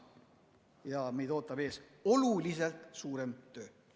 Ja meid ootab ees oluliselt suurem töö.